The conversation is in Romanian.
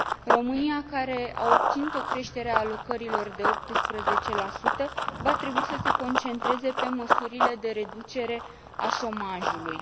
România, care a obținut o creștere a alocărilor de 18, va trebui să se concentreze pe măsurile de reducere a șomajului.